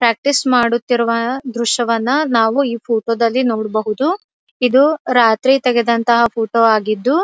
Practice ಮಾಡುತ್ತಿರುವ ದ್ರಶ್ಯವನ್ನು ನಾವು ಈ ಫೋಟೋ ದಲ್ಲಿ ನೋಡಬಹುದು ಇದು ರಾತ್ರಿ ತೆಗೆದಂತಹ ಫೋಟೋ ಆಗಿದ್ದು.